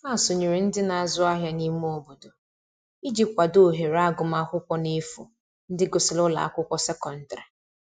Ha sonyere ndi n'azu ahia n'ime obodo iji kwado ohere agụma akwụkwo n'efu ndi gusiri ụlọ akwụkwo sekọndrị